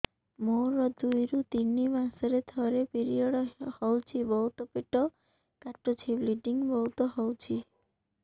ମୋର ଦୁଇରୁ ତିନି ମାସରେ ଥରେ ପିରିଅଡ଼ ହଉଛି ବହୁତ ପେଟ କାଟୁଛି ବ୍ଲିଡ଼ିଙ୍ଗ ବହୁତ ହଉଛି